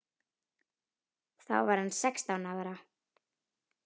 Þá var hann sextán ára.